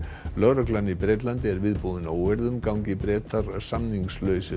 lögreglan í Bretlandi er viðbúin óeirðum gangi Bretar út samningslausir